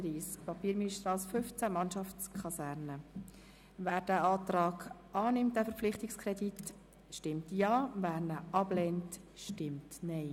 Wer den Kreditantrag annimmt, stimmt Ja, wer diesen ablehnt, stimmt Nein.